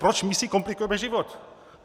Proč my si komplikujeme život?